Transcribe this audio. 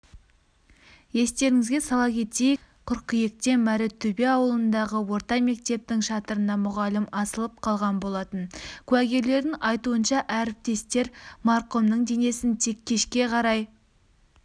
естеріңізге сала кетейік қыркүйекте мәртөбе ауылындағы орта мектептің шатырына мұғалім асылып қалған болатын куәгерлердің айтуынша әріптестер марқұмның денесін тек кешке қарай